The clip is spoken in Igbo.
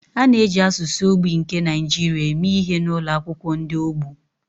A na-eji asụsụ ogbi nke Nigeria eme ihe n’ụlọ akwụkwọ ndị ogbu.